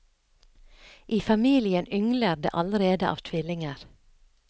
I familien yngler det allerede av tvillinger.